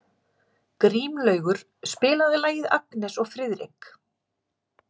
Grímlaugur, spilaðu lagið „Agnes og Friðrik“.